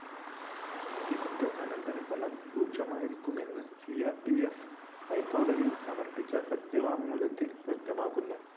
ഇതിന്‍റെ അനന്തരഫലം രൂക്ഷമായിരിക്കുമെന്നും സി ആർ പി ഫ്‌ ഹൈക്കടതിയിൽ സമർപ്പിച്ച സത്യവാങ്മൂലത്തിൽ വ്യക്തമാക്കുന്നു